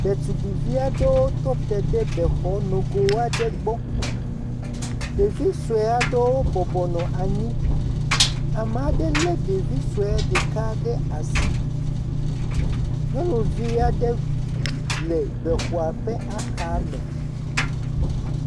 Ɖetugbi aɖewo tɔ te ɖe bexɔ nogo aɖe gbɔ. Ɖevi sue aɖewo bɔbɔ nɔ anyi. Ame aɖe le ɖevi sue ɖeka ɖe asi. Nyɔnuvi aɖe le bexɔ ƒe axa me.